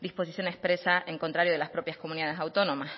disposición expresa en contrario de las propias comunidades autónomas